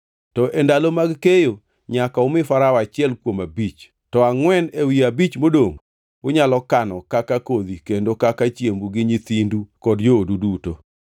To e ndalo mag keyo, nyaka umi Farao achiel kuom abich. To angʼwen ewi abich modongʼ unyalo kano kaka kodhi kendo kaka chiembu gi nyithindu kod joodu duto.”